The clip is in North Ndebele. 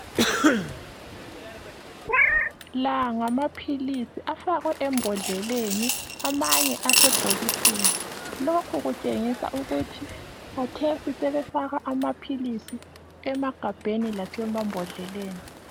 La ngamaphilisi afakwe embodleleni, amanye asebhokisini. Lokhu kutshengisa ukuthi kathesi sebefaka amaphilisi emagabheni lasemambodleleni.